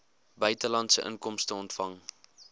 buitelandse inkomste ontvang